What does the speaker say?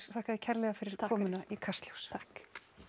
þakka þér kærlega fyrir komuna í Kastljós takk